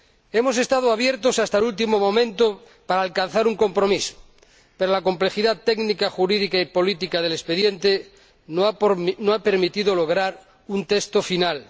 Hemos estado abiertos hasta el último momento para alcanzar un compromiso, pero la complejidad técnica, jurídica y política del expediente no ha permitido lograr un texto final.